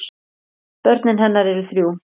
Börn hennar eru þrjú.